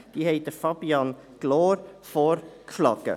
Sie haben Herrn Fabian Gloor vorgeschlagen.